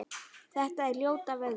Þetta er ljóta veðrið?